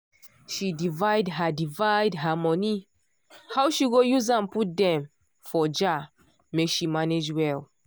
she divide her divide her money how she go use am put dem for jar make she manage well.